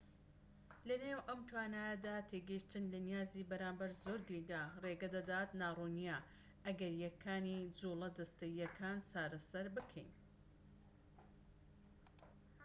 لەنێو ئەم توانایانەدا تێگەشتن لە نیازی بەرامبەر زۆر گرنگە ڕێگەدەدات ناڕوونیە ئەگەریەکانی جوڵە جەستەییەکان چارەسەر بکەین